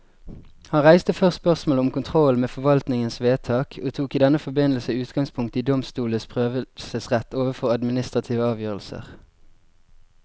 Han reiste først spørsmålet om kontrollen med forvaltningens vedtak, og tok i denne forbindelse utgangspunkt i domstolenes prøvelsesrett overfor administrative avgjørelser.